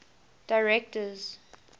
directors